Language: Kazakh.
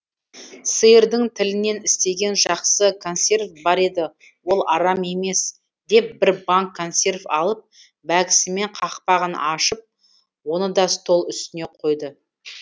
сиырдың тілінен істеген жақсы консерв бар еді ол арам емес деп бір банк консерв алып бәкісімен қақпағын ашып оны да стол үстіне қойды